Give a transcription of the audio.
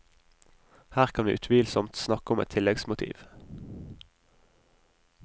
Her kan vi utvilsomt snakke om et tilleggsmotiv.